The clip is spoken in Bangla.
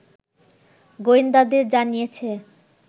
গোয়েন্দাদের জানিয়েছে